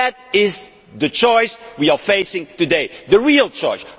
That is the choice we are facing today, the real choice.